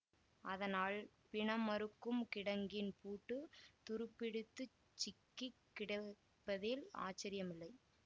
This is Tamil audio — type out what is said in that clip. அதனால் பிணமறுக்கும் கிடங்கின் பூட்டு துருப்பிடித்துச் சிக்கி கிடப்பதில் ஆச்சரியமில்லை